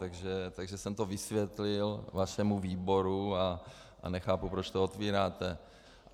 Takže jsem to vysvětlil vašemu výboru a nechápu, proč to otevíráte.